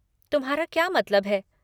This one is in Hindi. तुम्हारा क्या मतलब है?